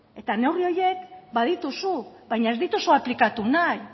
neurri horiek badituzu baina ez dituzu aplikatu nahi